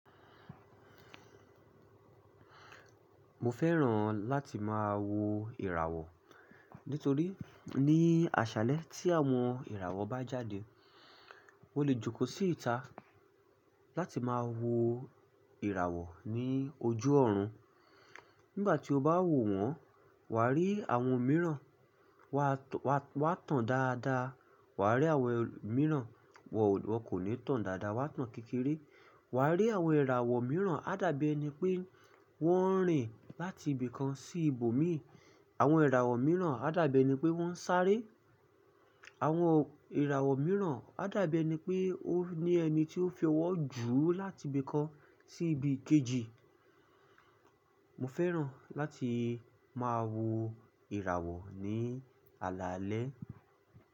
Mo fẹ́ràn láti máa wo ìràwọ̀ nítorí ní àṣálẹ́ tí àwọn ìràwọ̀ bá jáde, o lè jókòó sí ìta láti máa wo ìràwọ̀ ní ojú ọ̀run. Nígbà tí o bá wo wọ́n, wà á rí àwọn mìíràn wọn á tán dáadáa, wà á rí àwọn mìíràn wọn kò ní tán dáadáa, wọ́n tán kékeré. Wà á rí àwọn ìràwọ̀ mìíràn á dàbí ẹni pé wọ́n ń rìn láti ibìkan sí ibòmíràn. Àwọn ìràwọ̀ mìíràn á dàbí ẹni pé wọ́n ń sáré. Àwọn ìràwọ̀ mìíràn á dàbí ẹni pé ó ní ẹni tí ó fi ọwọ́ jùú láti ibìkan sí ibi kejì. Mo fẹ́ràn láti máa wo ìràwọ̀ ní alaalẹ́.